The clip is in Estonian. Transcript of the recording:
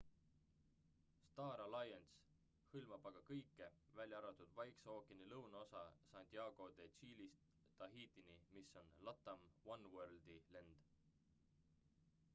star alliance hõlmab aga kõike välja arvatud vaikse ookeani lõunaosa santiago de chile'ist tahitini mis on latam oneworldi lend